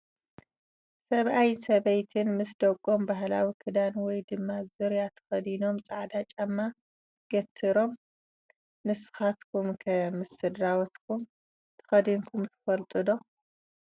ሰብኣይ ሰበይትን ምስ ደቀም ባህላዊ ክዳን ወይ ድም ዙርያ ተከዲኖም ፃዕዳ ጫማ ገትሮም ። ንስካትኵመ ከ ምስ ስድራቤት ኩም ተከዲንኩም ትፈልጡ ዶ ?